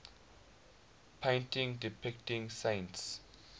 paintings depicting saints